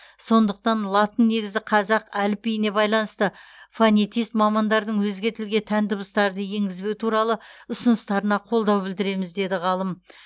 сондықтан латыннегізді қазақ әліпбиіне байланысты фонетист мамандардың өзге тілге тән дыбыстарды енгізбеу туралы ұсыныстарына қолдау білдіреміз деді ғалым